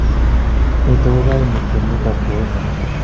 nitok ko kaini temut ab keywei miondo